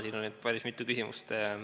Siin on nüüd päris mitu küsimust.